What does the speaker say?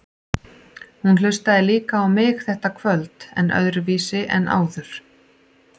Hún hlustaði líka á mig þetta kvöld, en öðruvísi en áður.